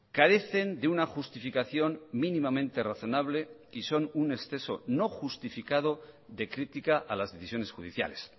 carecen de una justificación mínimamente razonable y son un exceso no justificado de crítica a las decisiones judiciales